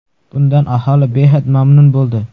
Bundan aholi behad mamnun bo‘ldi.